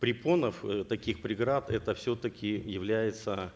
препонов э таких преград это все таки является